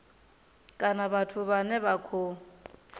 kana vhathu vhane vha khou